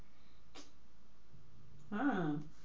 হ্যাঁ,